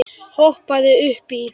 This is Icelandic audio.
Hoppaðu upp í.